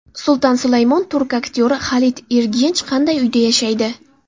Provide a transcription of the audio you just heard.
Sulton Sulaymon turk aktyori Xalit Ergench qanday uyda yashaydi?